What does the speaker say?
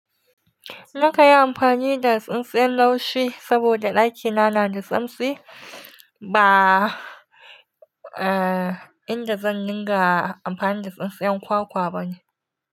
Na kan yi amfani da tsintsiyar laushi saboda ɗakina na da tsamtsi. Ba, eh, inda zan dinga amfani da tsintsiyar kwakwa bane.